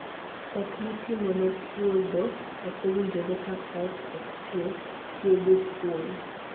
Koth mitimo ne puodho ok owinjore ka koth ok chue. TIEGO PUON